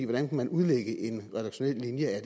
hvordan kan man udlægge en redaktionel linje af